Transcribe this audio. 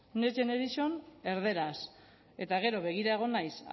next generation erderaz eta gero begira egon naiz